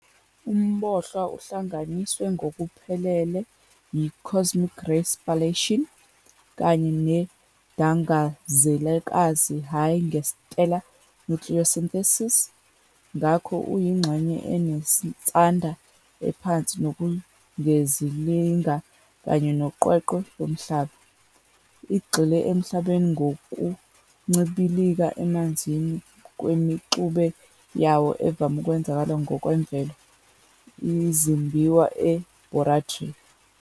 UmBohlwa uhlanganiswe ngokuphelele yi- "cosmic ray spallation" kanye neDangazelakazi hhayi nge-"stellar nucleosynthesis", ngakho uyingxenye enensada ephansi kunozungezilanga kanye noqweqwe loMhlaba. Igxile eMhlabeni ngokuncibilika emanzini kwemixube yawo evame ukwenzeka ngokwemvelo, izimbiwa e- borate.